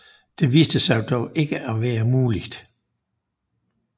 Det viste sig dog ikke at være muligt